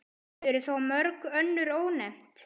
Eru þá mörg önnur ónefnd.